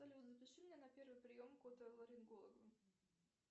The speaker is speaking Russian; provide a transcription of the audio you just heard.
салют запиши меня на первый прием к отоларингологу